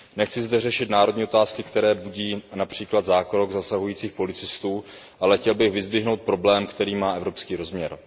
Nechci zde řešit národní otázky, které budí například zákrok zasahujících policistů, ale chtěl bych vyzdvihnout problém, který má evropský rozměr.